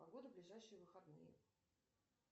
погода в ближайшие выходные